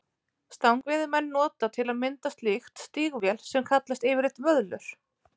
Stangveiðimenn nota til að mynda slík stígvél sem kallast yfirleitt vöðlur.